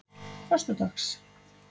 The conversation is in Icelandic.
föstudags